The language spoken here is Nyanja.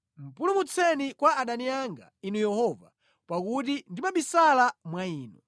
Pulumutseni kwa adani anga, Inu Yehova, pakuti ndimabisala mwa Inu.